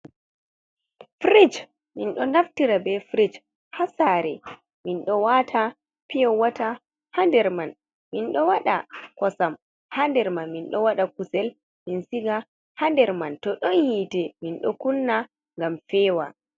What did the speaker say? Frij min ɗo naftira be frij haa saare, min ɗo waata piyo wata haa nder man. Min ɗo waɗa kosam haa nder man. Min ɗo waɗa kusel, min siga haa nder man. To ɗon hiite minɗo kunna ngam fewa.